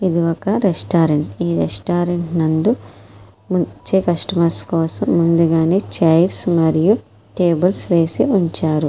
ఇది ఒక రెస్టారెంట్ ఈ రెస్టారెంట్ లోని అందు వచ్చే కూస్తోమర్స్ కోసం ముందుగానే చైర్స్ మరియు టేబుల్స్ వేసి ఉంచారు.